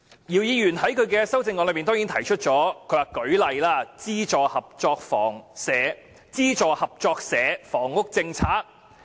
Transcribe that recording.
姚議員在修正案中亦提出了"例如推出'資助合作社房屋政策'"。